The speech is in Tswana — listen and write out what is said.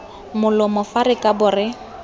molomo fa re kabo re